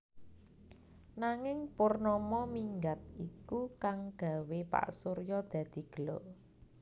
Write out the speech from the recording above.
Nanging Purnama minggat iku kang gawé Pak Surya dadi gela